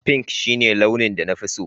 Pink shine launin da na fi so